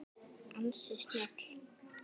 Ansi snjöll!